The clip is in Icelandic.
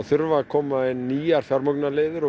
þurfa að koma inn nýjar fjármögnunar leiðir